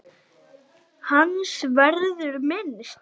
Hans verður minnst.